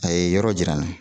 A ye yɔrɔ jira n na